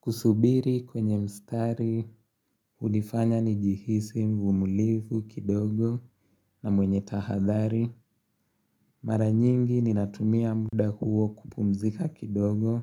Kusubiri kwenye mstari, hunifanya nijihisi mvumilivu kidogo na mwenye tahadhari. Mara nyingi ninatumia mda huo kupumzika kidogo,